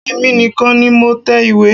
Èmi nìkan ni mo tẹ ìwé.